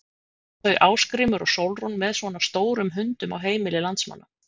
En mæla þau Ásgrímur og Sólrún með svona stórum hundum á heimili landsmanna?